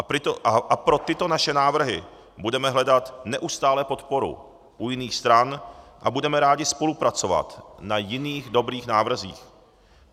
A pro tyto naše návrhy budeme hledat neustále podporu u jiných stran a budeme rádi spolupracovat na jiných dobrých návrzích.